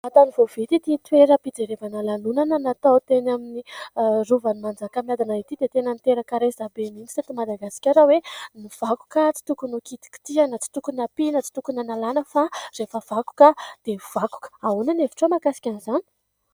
Vantany vao vita ity toeram-pijerevana lalonana, natao teny amin'ny rovan'i Manjakamiadana ity dia tena niteraka resa-be mihitsy teto Madagasikara hoe : ny vakoka tsy tokony ho kitikitihina ; tsy tokony ampiana, tsy tokony analàna, fa rehefa vakoka dia vakoka... Ahoana ny hevitrao mahakasika izany ?